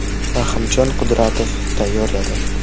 Rahimjon Qudratov tayyorladi.